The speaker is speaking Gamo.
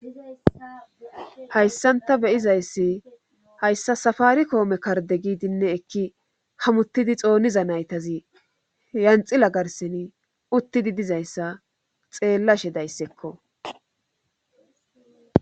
hayssan ta beyizayssi hayssa safari koome karde giidinne ekki hamuttidi xooniza naytazi yanxila garsin uttidi dizayssa xeellashe dayssekko